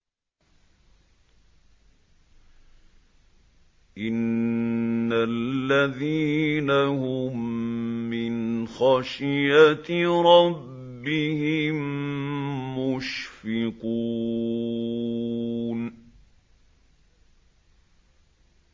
إِنَّ الَّذِينَ هُم مِّنْ خَشْيَةِ رَبِّهِم مُّشْفِقُونَ